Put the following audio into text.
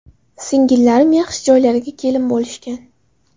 Singillarim yaxshi joylarga kelin bo‘lishgan.